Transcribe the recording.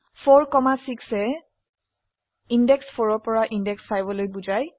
4 6 য়ে ইন্দেশ 4 পৰা ইন্দেশ 5লৈ বোঝায়